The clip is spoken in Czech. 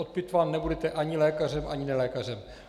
Odpitván nebudete ani lékařem ani nelékařem.